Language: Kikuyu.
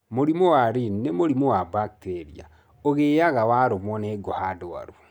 Mũrimũ wa Lyne nĩ mũrimũ wa bacteria ũngĩaga warũmwo nĩ ngũha ndwaru.